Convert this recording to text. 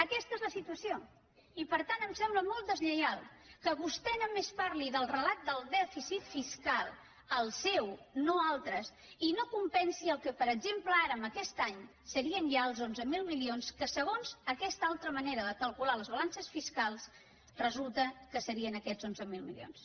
aquesta és la situació i per tant em sembla molt deslleial que vostè només parli del relat del dèficit fiscal el seu no altres i no compensi el que per exemple ara amb aquest any serien ja els onze mil milions que segons aquesta altra manera de calcular les balances fiscals resulta que serien aquests onze mil milions